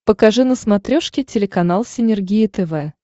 покажи на смотрешке телеканал синергия тв